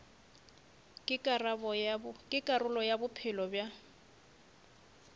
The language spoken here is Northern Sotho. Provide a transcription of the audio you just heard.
ke karolo ya bophelo bja